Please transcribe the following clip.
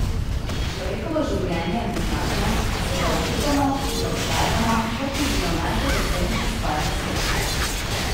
Človekovo življenje je neznatno, a se ga oklepamo in ga podarjamo, kot bi bilo najdragocenejša stvar na svetu.